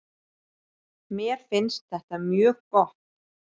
Mér finnst þetta mjög gott.